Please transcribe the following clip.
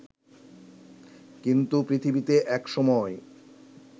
কিন্তু পৃথিবীতে একসময়